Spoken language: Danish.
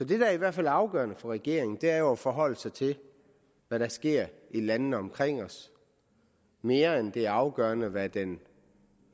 det der i hvert fald er afgørende for regeringen er jo at forholde sig til hvad der sker i landene omkring os mere end det er afgørende hvad den